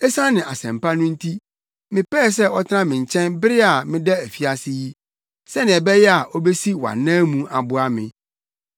Esiane asɛmpa no nti, mepɛe sɛ ɔtena me nkyɛn bere a meda afiase yi, sɛnea ɛbɛyɛ a obesi wʼanan mu aboa me.